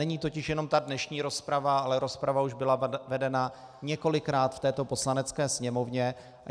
Není totiž jenom ta dnešní rozprava, ale rozprava už byla vedena několikrát v této Poslanecké sněmovně.